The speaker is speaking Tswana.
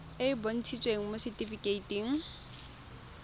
e e bontshitsweng mo setifikeiting